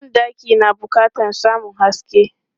Ban ɗaki na bukatan samun haske.